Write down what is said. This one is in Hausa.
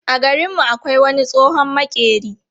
A garin mu akwai wani tsohon maƙeri.